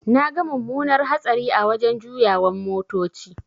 Naga mumunar hatsari a wajan juyawan motoci.